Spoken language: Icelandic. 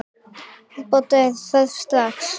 Úrbóta er þörf strax.